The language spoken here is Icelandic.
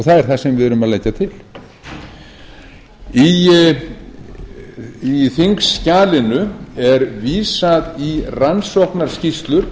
það er það sem við erum að leggja til í þingskjalinu er vísa í rannsóknarskýrslur